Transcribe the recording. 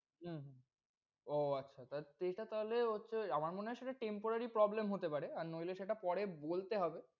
উম ও আচ্ছা তাহলে সেইটা তাহলে হচ্ছে আমার মনে হয় সেটা temporary problem হতে পারে আর নইলে সেটা পরে বলতে হবে।